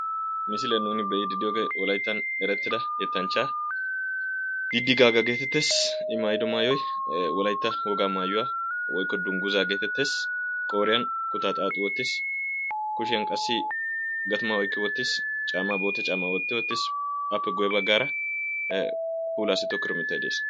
Misiliyan nu be"iiddi diyoogee wolayitta yettanchchaa didi gaaga geetetes. I maayido maayoy ee wolayitta wogaa maayuwa. Woyikko dunguza geetettes. Qooriya kutaa xaaxi wottis. Kushiyan qassi gatimaa oyiqqi wottis. Caammaa bootta vaammaa wotti wottis. Appe guyye baggaara puulaassi tokkido mittay des.